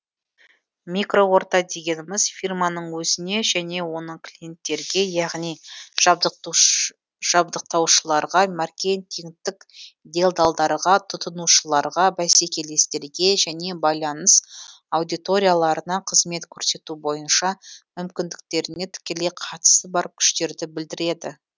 микроорта дегеніміз фирманың өзіне және оның клиенттерге яғни жабдықтаушыларға маркетингтік делдалдарға тұтынушыларға бәсекелестерге және байланыс аудиторияларына қызмет көрсету бойынша мүмкіндіктеріне тікелей қатысы бар күштерді білдіреді